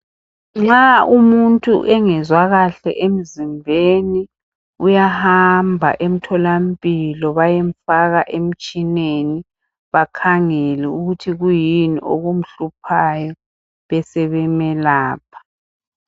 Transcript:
Nxa umuntu engezwa kuhle emzimbeni uyahamba emtholampilo bayemfaka emtshineni bakhangele ukuthi kuyini okumhluphayo besebemelapha.